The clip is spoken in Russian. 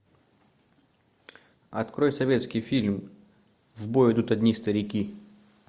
открой советский фильм в бой идут одни старики